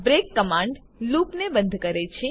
break command લુપને બંધ કરે છે